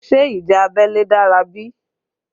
Ṣé ìjà abẹ́lé dára bí?